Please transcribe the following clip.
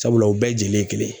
Sabula u bɛɛ jelen kelen.